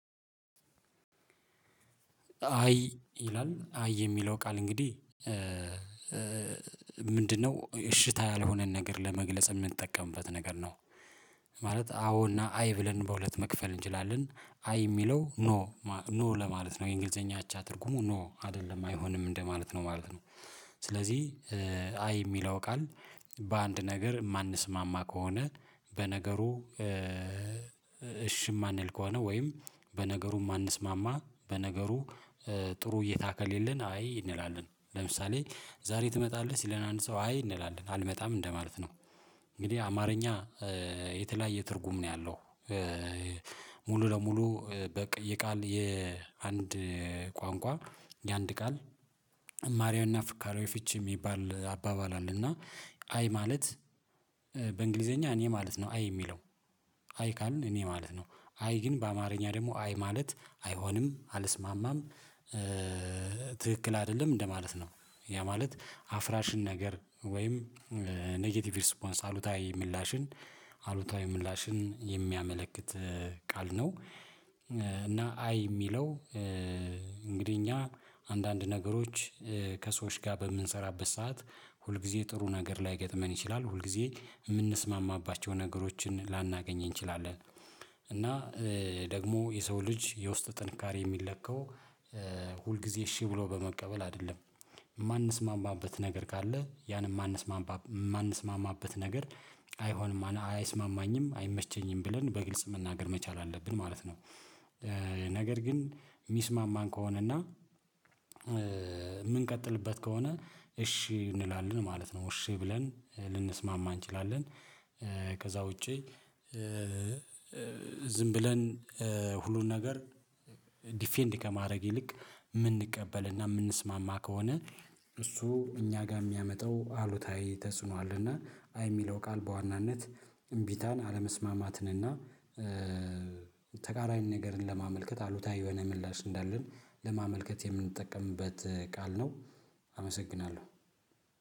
አይ ይላል አይ የሚለው ቃል እንግዲህ እሽታ ያልሆነን ነገር ለመግለጽ የምንጠቀምበት ነገር ነው ማለት አዎ እና አይ ብለን በሁለት መክፈል እንችላለን አይ የሚለው ኖ ኖ ለማለት ነው የእንግሊዝኛ አቻ ትርጉሙ ኖ አይደለም አይሆንም እንደማለት ነው ማለት ነው። ስለዚህ አይ የሚለው ቃል በአንድ ነገር የማንስማማ ከሆነ በነገሩ እሺ የማንል ከሆነ ወይም በነገሩ የማንስማማ በነገሩ ጥሩ እይታ ከሌለን አይ እንላለን ለምሳሌ ዛሬ ትመጣለህ ሲለን አንድ ሰው አይ እንላለን አልመጣም እንደማለት ነው። እንግዲህ አማርኛ የተለያየ ትርጉም ነው ያለው። ሙሉ ለሙሉ በቀ የቃል የአንድ ቋንቋ የአንድ ቃል እማሪያውና ፍካሬው ፍቺ የሚባል አባባል አለ። እና አይ ማለት በእንግሊዝኛ እኔ ማለት ነው አይ የሚለው አይ ካልን እኔ ማለት ነው አይ ግን በአማርኛ ደግሞ አይ ማለት አይሆንም አልስማማም። ትክክል አይደለም እንደማለት ነው ያ ማለት አፍራሽን ወይም ኔጌቲቭ ሪስፖንስ አሉታዊ ምላሽን አሉታዊ ምላሽን የሚያመለክት ቃል ነው። እና አይ የሚለው እንግዲህ እኛ አንዳንድ ነገሮች ከሰዎች ጋር በምንሰራበት ሰዓት ሁልጊዜ ጥሩ ነገር ላይገጥመን ይችላል ሁልጊዜ የምንስማማባቸው ነገሮችን ላናገኝ እንችላለን። እና ደግሞ የሰው ልጅ የውስጥ ጥንካሬ የሚለካው ሁልጊዜ እሺ ብሎ በመቀበል አይደለም የማንስማማበት ነገር ካለ ያን የማንስማማ የማንስማማበት ነገር አይሆንም አና አይስማማኝም አይመቸኝም ብለን በግልጽ መናገር መቻል አለብን ማለት ነው። ነገር ግን የሚስማማን ከሆነና የምንቀጥልበት ከሆነ እሺ እንላለን ማለት ነው እሺ ብለን ልንስማማ እንችላለን። ከዛ ውጪ ዝም ብለን ሁሉን ነገር ዲፌንድ ከማድረግ ይልቅ የምንቀበልና የምንስማማ ከሆነ እሱ እኛ ጋር የሚያመጣው አሉታዊ ተጽዕኖ አለ እና አይ የሚለው ቃል በዋናነት እምቢታን አለመስማማትንና ተቃራኒ ነገርን ለማመልከት አሉታዊ የሆነ ምላሽ እንዳለን ለማመልከት የምንጠቀምበት ቃል ነው። አመሰግናለሁ